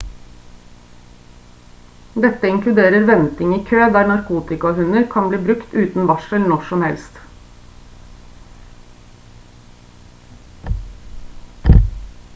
dette inkluderer venting i kø der narkotikahunder kan bli brukt uten varsel når som helst